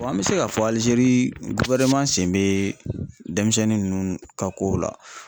an mɛ se k'a fɔ Alizeri sen bɛ denmisɛnnin ninnu ka kow la.